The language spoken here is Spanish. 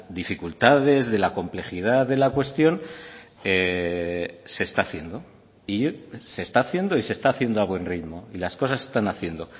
dificultades de la complejidad de la cuestión se está haciendo y se está haciendo y se está haciendo a buen ritmo y las cosas se están haciendo